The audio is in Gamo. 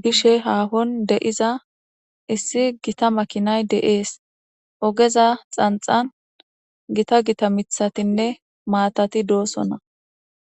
be'ishshe hahoni de'iza issi Gita makinayi de'es .ogezza xanixanni Gita Gita miththatinne matati de'osona.